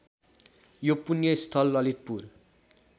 यो पुण्यस्थल ललितपुर